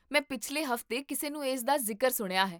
ਮੈਂ ਪਿਛਲੇ ਹਫ਼ਤੇ ਕਿਸੇ ਨੂੰ ਇਸਦਾ ਜ਼ਿਕਰ ਸੁਣਿਆ ਹੈ